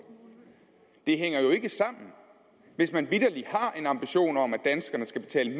det hænger jo ikke sammen hvis man vitterlig har en ambition om at danskerne skal betale